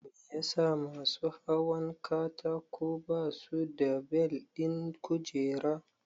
Me yasa masu hawan katako ba su da bel ɗin kujera?